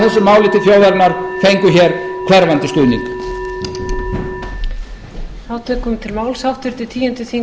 eða fjórar tilraunir okkar til að koma þessu máli til þjóðarinnar fengu hér hverfandi stuðning